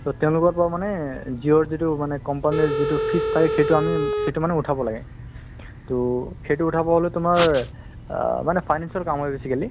ট তেওলোকৰ পৰা মানে জিওৰ যিতো company যিতো পাই আমি সেইটো মানে উথাব লাগে ট সেইটো উথাব হলে তুমাৰ আ মানে financial কামৰ basically